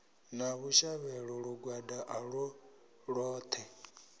na vhushavhelo lugwada ulwo lwoṱhe